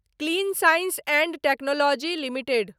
clean science and technology limited